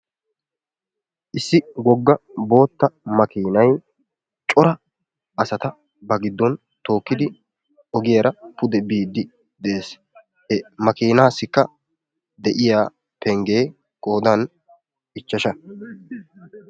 issi woga bootta makiinay cora asata ba giddon tookidi biidi de'ees; he makiinaassiikka de'iya pengee qoodan ichchasha.